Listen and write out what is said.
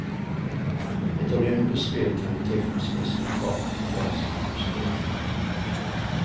Ett olympiskt spel kan betecknas som ett spektakel på gränsen till hysteri.